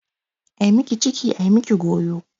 Ai miki ciki ai miki goyo.